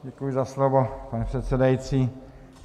Děkuji za slovo, pane předsedající.